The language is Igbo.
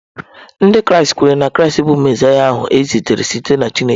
Ndị Kraịst kweere na Kraịst bụ Mesaịa ahụ e zitere site na Chineke.